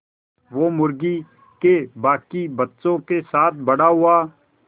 वो मुर्गी के बांकी बच्चों के साथ बड़ा हुआ